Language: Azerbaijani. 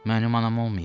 Mənim anam olmayıb.